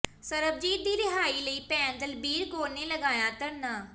ਸਰਬਜੀਤ ਦੀ ਰਿਹਾਈ ਲਈ ਭੈਣ ਦਲਬੀਰ ਕੌਰ ਨੇ ਲਗਾਇਆ ਧਰਨਾ